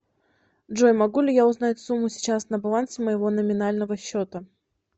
джой могу ли я узнать сумму сейчас на балансе моего номинального счета